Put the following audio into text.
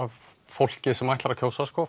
fólki sem ætlar að kjósa